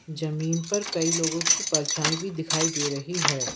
जमीन पर कई लोगों की परछाई भी दिखाई दे रही है।